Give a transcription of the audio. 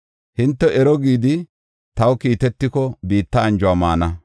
Hinte ero gidi taw kiitetiko biitta anjuwa maana.